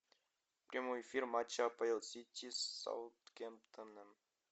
прямой эфир матча апл сити с саутгемптоном